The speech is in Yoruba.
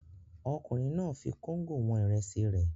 Ọkùnrin náà fi kóńgò wọn ìrẹsì rẹ̀.